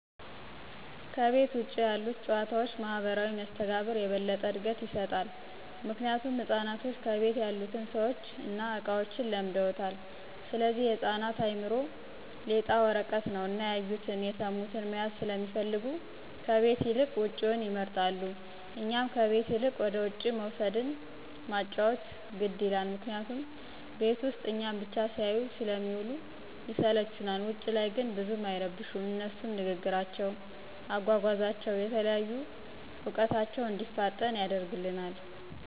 ከቤት ውጭ ያሉት ጭዋታዎች ማህበራዊ መስተጋብር የበለጠ እድገት ይሰጣል። ምክንያቱም ህፃናቶች ከቤት ያሉትን ሰዎችን እና እቃዎችን ለምደውታል ስለዚህ የህፃናት አእምሮ ሌጣ ወረቀት ነው እና ያዩቱን፣ የስሙትን መያዝ ሰለሚፈልጉ ከቤት ይልቅ ውጭውን ይመርጣሉ። እኛም ከቤት ይልቅ ወደውጭ መውሰድን ማጫዎት ግድ ይላል ምክንያቱም ቤት ውስጥ እኛን ብቻ ሲያዩ ስለሚውሉ ይስለቹናል። ውጭ ላይ ግን ብዙም አይረብሹም አነሱም ንግግራቸው፣ አጓጓዛቸው፣ የተለያዩ እውቀታቸው እንዲፋጠን ያደርግልናል።